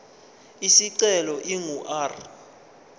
isicelo ingu r